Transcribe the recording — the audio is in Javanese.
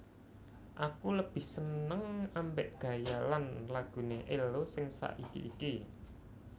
Aku lebih seneng ambek gaya lan lagune Ello sing saiki iki